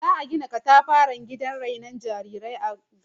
Za'a gina katafaren gidan rainon jarirai a birnin